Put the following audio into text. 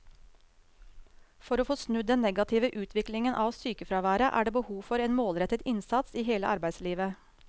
For å få snudd den negative utviklingen av sykefraværet er det behov for en målrettet innsats i hele arbeidslivet.